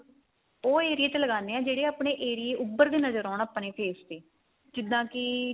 ਉਹ area ਚ ਲਗਾਨੇ ਆ ਜਿਹੜੇ ਆਪਣੇ area ਉਬਰਦੇ ਨਜਰ ਆਉਣ ਆਪਣੇ face ਤੇ ਜਿੱਦਾਂ ਕੀ